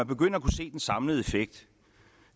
begynder at kunne se den samlede effekt